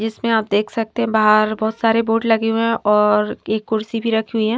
जिसमें आप देख सकते हैं बाहर बहुत सारे बोर्ड लगे हुए हैं और एक कुर्सी भी रखी हुई है।